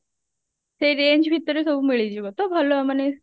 ସେଇ range ଭିତରେ ସବୁ ମିଳିଯିବ ତ ଭଲ ମାନେ